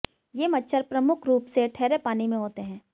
ये मच्छर प्रमुख रूप से ठहरे पानी में होते हैं